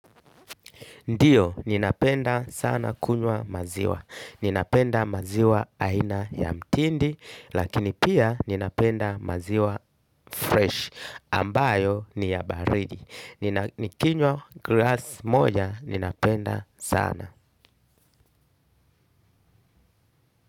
Ndiyo, ninapenda sana kunywa maziwa. Ninapenda maziwa aina ya mtindi, lakini pia ninapenda maziwa fresh, ambayo ni ya baridi. Nikinywa glasi moja, ninapenda sana.